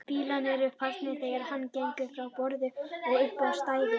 Bílarnir eru farnir þegar hann gengur frá borði og upp á stæðið.